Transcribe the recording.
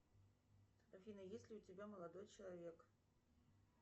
афина есть ли у тебя молодой человек